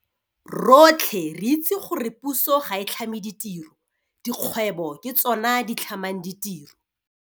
"Rotlhe re itse gore puso ga e tlhame ditiro. Dikgwebo ke tsona di tlhamang ditiro."